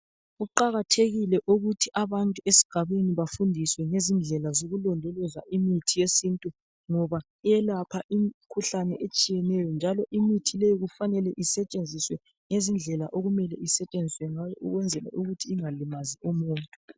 Kuqakathekile ukuthi abantu bafunde indlela zokulondoloza imithi yesintu ngoba iyalapha imikhuhlane etshiyeneyo njalo imithi le kufanele isetshenziswe ngendlela okufuze isebenze ngayo ukuze ingalimazi umuntu.